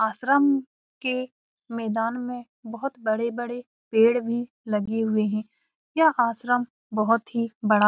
आश्रम के मैदान में बहुत बड़े-बड़े पेड़ लगे हुए हैं यह आश्रम बहुत ही बड़ा --